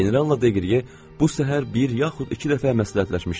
Generalla Deqr ye bu səhər bir yaxud iki dəfə məsləhətləşmişdilər.